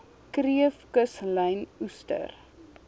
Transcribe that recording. kreef kuslyn oester